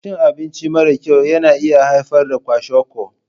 Cin abinci mara kyau na iya haifar da kwashiorkor.